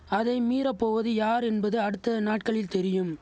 அதை மீறப்போவது யார் என்பது அடுத்த நாட்களில் தெரியும்